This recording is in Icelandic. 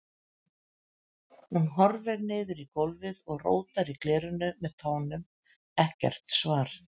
Hún horfir niður í gólfið og rótar í glerinu með tánum, ekkert svar.